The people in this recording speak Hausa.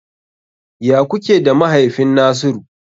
Ya kuke da mahaifin Nasiru?